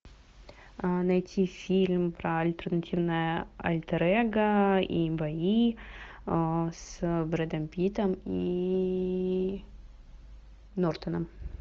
найти фильм про альтернативное альтер эго и бои с брэдом питтом и нортоном